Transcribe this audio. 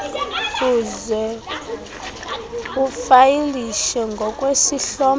uze ufayilishe ngokwesihlomelo